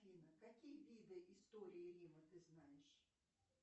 афина какие виды истории рима ты знаешь